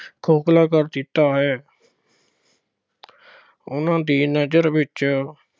ਖੋਖਲਾ ਕਰ ਦਿੱਤਾ ਹੈ। ਉਨ੍ਹਾਂ ਦੀ ਨਜ਼ਰ ਵਿੱਚ